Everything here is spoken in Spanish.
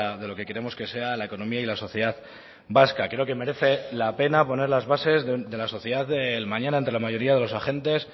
de lo que queremos que sea la economía y la sociedad vasca creo que merece la pena poner las bases de la sociedad del mañana entre la mayoría de los agentes